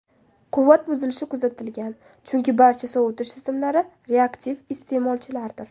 Quvvat buzilishi kuzatilgan, chunki barcha sovutish tizimlari reaktiv iste’molchilardir.